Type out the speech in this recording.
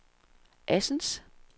Assens